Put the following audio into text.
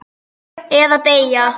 Eða deyja.